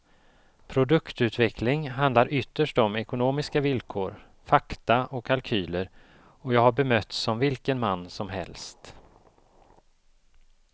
Produktutveckling handlar ytterst om ekonomiska villkor, fakta och kalkyler och jag har bemötts som vilken man som helst.